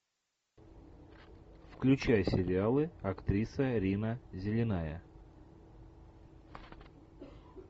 включай сериалы актриса рина зеленая